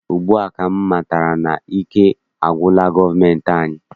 Ugbua ka m matara na ike agwụla gọọmentị anyị.